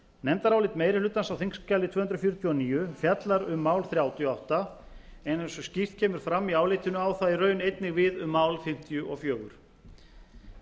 nefndarálit meiri hlutans á þingskjali tvö hundruð fjörutíu og níu fjallar um mál þrjátíu og átta en eins og skýrt kemur fram í álitinu á það í raun einnig við um mál fimmtíu og fjögur en